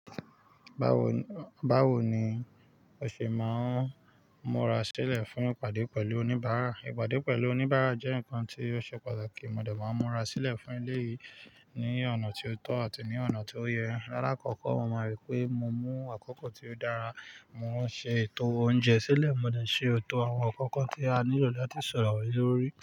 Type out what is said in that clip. Báwo, báwo ni o ṣe máa ń múra sílẹ̀ fún ìpàdé pẹ̀lú oníbàárà? Ìpàdé pẹ̀lú oníbàárà jẹ́ nǹkan tí ó ṣe pàtàkì. Mo dẹ̀ máa ń múra sílẹ̀ fún eleyìí ní ọ̀nà tí ó tọ́ àti ní ọ̀nà tí ó yẹ. Rárá, àkọ́kọ́ mo máa rí pé mo mú àkókò tí ó dára, mo o ṣe ètò oúnjẹ sílẹ̀, mo dẹ̀ ṣe etò àwọn nnkan kan tí a nílò láti sọ̀rọ̀ lórí.